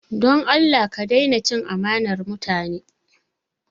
Don Allah ka daina cin amanar mutane!